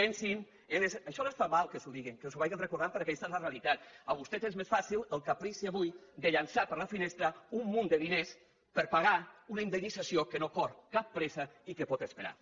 això els fa mal que els ho diguin que els ho vagin recordant perquè aquesta és la realitat a vostès els és més fàcil el caprici avui de llançar per la finestra un munt de diners per pagar una indemnització que no corre cap pressa i que pot esperar